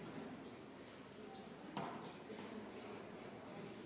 Algataja ettekandja on tervise- ja tööminister Jevgeni Ossinovski.